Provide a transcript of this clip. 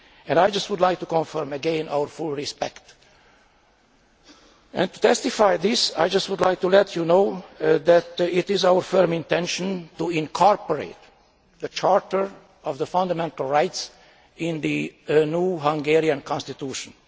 I just would like to confirm again our full respect and to testify to this I would just like to let you know that it is our firm intention to incorporate the Charter of Fundamental Rights into the new Hungarian Constitution.